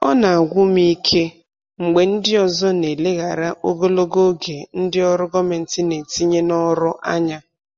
Ọ na-agwụ m ike mgbe ndị ọzọ na-eleghara ogologo oge ndị ọrụ gọọmentị na-etinye n'ọrụ anya.